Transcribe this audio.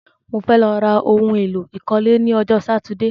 Mo fẹ́ lọ ra oun èlò ìkọ́lé ni ọjọ́ Sátidé